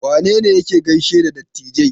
Wane ne yake gaishe da dattijai?